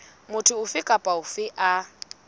motho ofe kapa ofe a